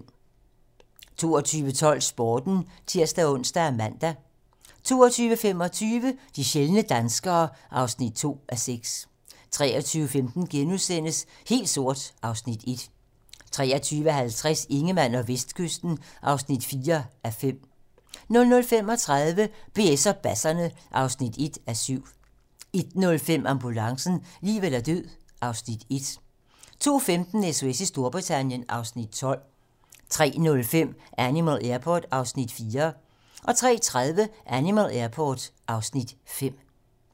22:12: Sporten (tir-ons og man) 22:25: De sjældne danskere (2:6) 23:15: Helt sort (Afs. 1)* 23:50: Ingemann og Vestkysten (4:5) 00:35: BS og Basserne (1:7) 01:05: Ambulancen - liv eller død (Afs. 1) 02:15: SOS i Storbritannien (Afs. 12) 03:05: Animal Airport (Afs. 4) 03:30: Animal Airport (Afs. 5)